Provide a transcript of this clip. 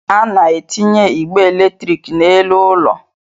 A na-etinye igbe eletrik n'elu ụlọ